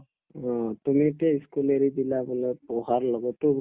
অ, তেনেকে পঢ়াৰ লগতো